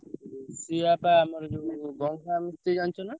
ରୋଷେୟା ବା ଆମର ଯୋଉ ଗଙ୍ଗା ଜାଣିଚ ନା?